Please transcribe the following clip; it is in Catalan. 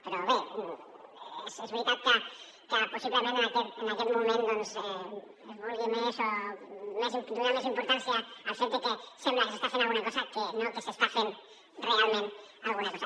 però bé és veritat que possiblement en aquest moment doncs es vulgui donar més importància al fet de que sembla que s’està fent alguna cosa que no que s’està fent realment alguna cosa